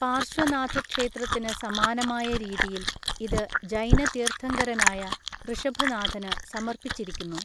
പാർശ്വനാഥ ക്ഷേത്രത്തിന് സമാനമായ രീതിയിൽ, ഇത് ജൈന തീർത്ഥങ്കരനായ ഋഷഭനാഥന് സമർപ്പിച്ചിരിക്കുന്നു.